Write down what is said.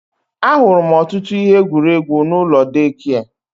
Ahụrụ m ọtụtụ ihe egwuregwu n'ụlọ deekia